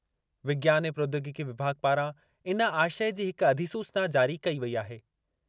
विज्ञान ऐं प्रौद्योगिकी विभाग पारां इन आशय जी हिक अधिसूचना जारी कई वेई आहे।